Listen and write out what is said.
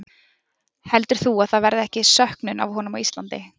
Heldur þú að það verði ekki söknun af honum á Íslandi?